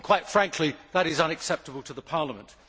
Quite frankly, that is unacceptable to Parliament.